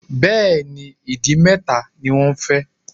Bẹ́ẹ̀ni. Ìdì mẹ́ta ni wọ́n fẹ́